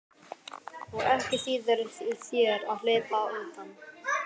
Og ekki þýðir þér að hlaupa undan.